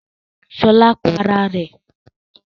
Ṣọlá pa ara rẹ̀?